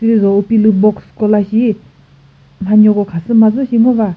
lizo upilü box ko la shi mhanyoko khasüma züshi ngo va.